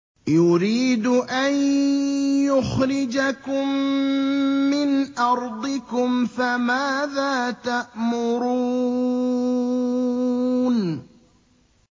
يُرِيدُ أَن يُخْرِجَكُم مِّنْ أَرْضِكُمْ ۖ فَمَاذَا تَأْمُرُونَ